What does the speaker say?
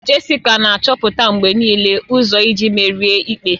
Jessica na-achọta mgbe niile ụzọ iji merie ikpe